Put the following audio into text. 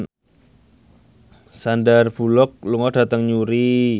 Sandar Bullock lunga dhateng Newry